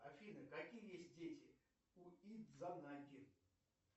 афина какие есть дети у идзанаги